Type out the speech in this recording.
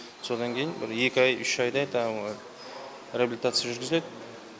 содан кейін бір екі ай үш айдай тағы реабилитация жүргізіледі